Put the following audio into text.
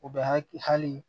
U bɛ hakili hali